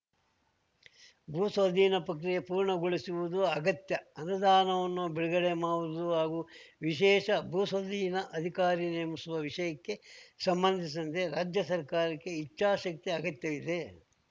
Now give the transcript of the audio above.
ಭೂಸ್ವಾಧೀನ ಪಕ್ರಿಯೆ ಪೂರ್ಣಗೊಳಿಸುವುದು ಅಗತ್ಯ ಅನುದಾನವನ್ನು ಬಿಡುಗಡೆ ಮಾಡುವುದು ಹಾಗೂ ವಿಶೇಷ ಭೂಸ್ವಾಧೀನ ಅಧಿಕಾರಿ ನೇಮಿಸುವ ವಿಷಯಕ್ಕೆ ಸಂಬಂಧಿಸಿದಂತೆ ರಾಜ್ಯ ಸರ್ಕಾರಕ್ಕೆ ಇಚ್ಛಾಶಕ್ತಿ ಅಗತ್ಯವಿದೆ